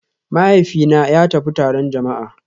Mahaifina ya tafi taron jama'a